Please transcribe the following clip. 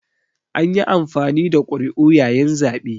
An yi amfani da ƙuri'u yayin zaɓe